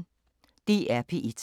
DR P1